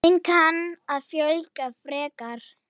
Þeim kann að fjölga frekar.